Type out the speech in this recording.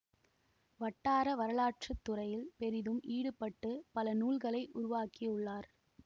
வட்டார வரலாற்று துறையில் பெரிதும் ஈடுபட்டு பல நூல்களை உருவாக்கி உள்ளார்